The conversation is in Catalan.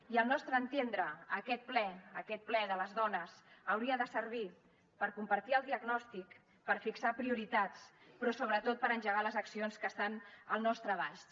i al nostre entendre aquest ple aquest ple de les dones hauria de servir per compartir el diagnòstic per fixar prioritats però sobretot per engegar les accions que estan al nostre abast